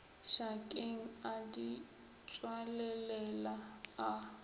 šakeng a di tswalelela a